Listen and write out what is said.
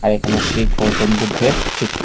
এইখানে শি গৌতম বুদ্ধের --